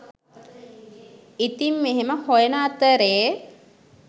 ඉතින් මෙහෙම හොයන අතරේ